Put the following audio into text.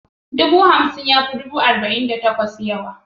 Dubu hamsin ya fi dubu arba'in da takwas yawa.